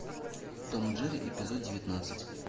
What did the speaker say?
том и джерри эпизод девятнадцать